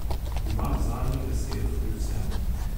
Imam zadnjo besedo pri vsem.